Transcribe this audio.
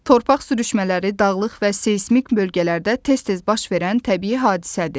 Torpaq sürüşmələri dağlıq və seysmik bölgələrdə tez-tez baş verən təbii hadisədir.